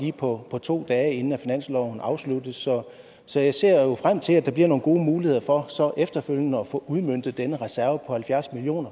på to dage inden finansloven afsluttes så så jeg ser frem til at der bliver nogle gode muligheder for efterfølgende at få udmøntet denne reserve på halvfjerds million